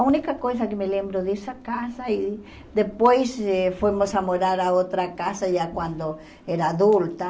A única coisa que me lembro dessa casa e depois eh fomos a morar a outra casa já quando era adulta.